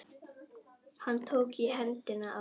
Hann tók í hendina á